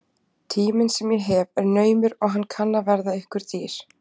Tíminn sem ég hef er naumur og hann kann að verða ykkur dýr.